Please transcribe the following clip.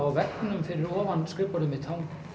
á veggnum fyrir ofan skrifborðið mitt